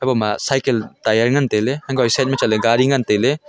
ema cycle tire ngan tailey unkoh e side ma chatley gari ngan tailey.